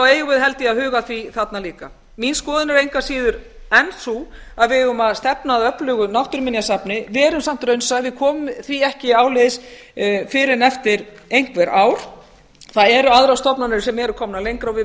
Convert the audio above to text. eigum við held ég að huga að því þarna líka mín skoðun er engu að síður enn sú að við eigum að stefna að öflugu náttúruminjasafni verum samt raunsæ við komum því ekki áleiðis fyrr en eftir einhver ár það eru aðrar stofnanir sem eru komnar lengra